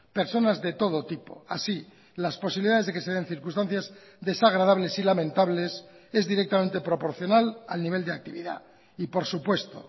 personas de todo tipo así las posibilidades de que se den circunstancias desagradables y lamentables es directamente proporcional al nivel de actividad y por supuesto